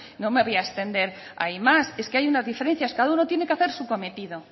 no me voy a extender ahí más es que hay unas diferencias cada uno tiene que hacer su cometido